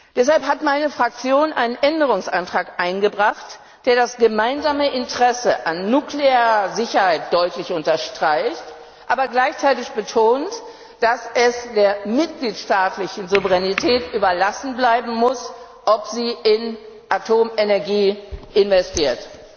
Deshalb hat meine Fraktion einen Änderungsantrag eingebracht, der das gemeinsame Interesse an nuklearer Sicherheit deutlich unterstreicht, aber gleichzeitig betont, dass es der Souveränität der Mitgliedstaaten überlassen bleiben muss, ob sie in Atomenergie investieren.